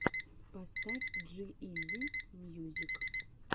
поставь джи изи мьюзик